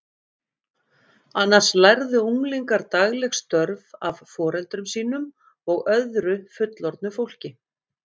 Annars lærðu unglingar dagleg störf af foreldrum sínum og öðru fullorðnu fólki.